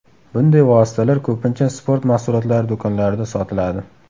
Bunday vositalar ko‘pincha sport mahsulotlari do‘konlarida sotiladi.